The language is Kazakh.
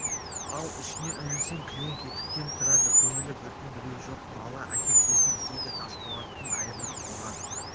ал ішіне үңілсең кілең кетіктен тұрады көңілі бүтін біреу жоқ бала әке-шешесін іздейді тасболат айырылып қалған